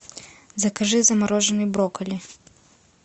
закажи замороженные брокколи